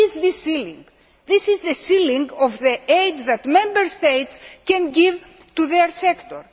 What is this ceiling? This is the ceiling of the aid that Member States can give to their sector.